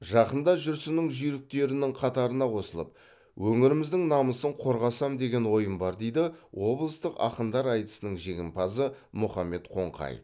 жақында жүрсіннің жүйріктерінің қатарына қосылып өңіріміздің намысын қорғасам деген ойым бар дейді облыстық ақындар айтысының жеңімпазы мұхаммед қоңқаев